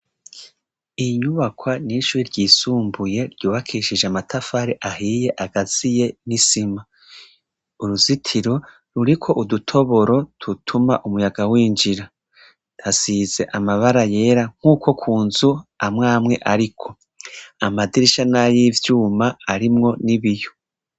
Iyi nyubakwa ni iy'ishure ryisumbuye ryubakishije amatafari ahiye akaziye n'isima. uruzitiro ruriko udutoboro dutuma umuyaga winjira. Hasize amabara yera nk'uko ku nzu amwamwe ariko. Amadirisha ni ay'ivyuma harimwo n'ibiyo.